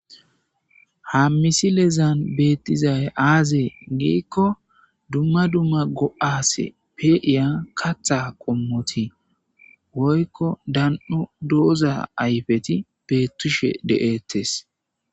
Ha misi lezan beettizay aazee giikko dumma dumma go7aase peiya katha qommoti woykko dan7o dooza ayfeti beettushe de,ettes.